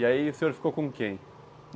E aí o senhor ficou com quem?